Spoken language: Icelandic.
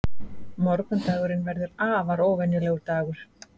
Morgundagurinn verður afar óvenjulegur dagur.